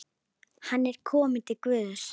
Hann er kominn til Guðs.